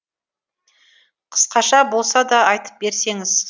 қысқаша болса да айтып берсеңіз